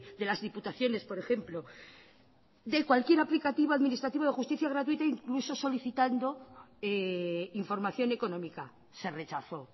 de las diputaciones por ejemplo del cualquier aplicativo administrativo de justicia gratuita incluso solicitando información económica se rechazó